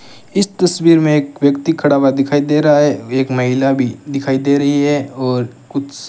इस तस्वीर में एक व्यक्ति खड़ा हुआ दिखाई दे रहा है एक महिला भी दिखाई दे रही है और कुछ --